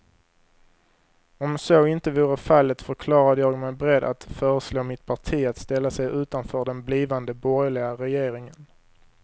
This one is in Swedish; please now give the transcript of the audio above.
Om så inte vore fallet förklarade jag mig beredd att föreslå mitt parti att ställa sig utanför den blivande borgerliga regeringen.